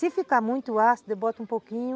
Se ficar muito ácido, eu boto um pouquinho.